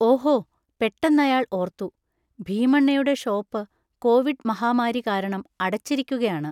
ഓഹോ പെട്ടെന്നയാൾ ഓർത്തു. ഭീമണ്ണയുടെ ഷോപ്പ് കോവിഡ് മഹാമാരി കാരണം അടച്ചിരിക്കുകയാണ്.